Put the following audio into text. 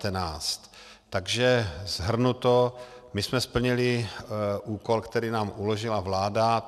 Takže shrnuto, my jsme splnili úkol, který nám uložila vláda.